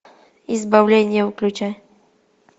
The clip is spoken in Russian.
избавление включай